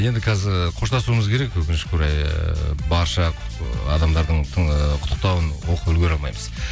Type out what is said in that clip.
енді қазір қоштасуымыз керек өкінішке орай ыыы барша ы адамдардың ыыы құттықтауын оқып үлгере алмаймыз